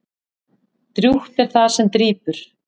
Drjúgt er það sem drýpur.